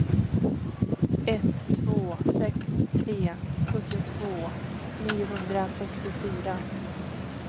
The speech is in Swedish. ett två sex tre sjuttiotvå niohundrasextiofyra